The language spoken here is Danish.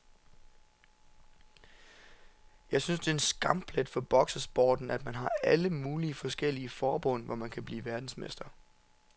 Jeg synes det er en skamplet for boksesporten, at man har alle mulige forskellige forbund, hvor man kan blive verdensmester.